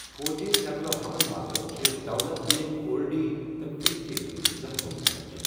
فوجی نقل و حمل باپت چھِ دولت بیگ اولڈی تہٕ فٗکچے منز زٕ ہوٲیی پچہِ ۔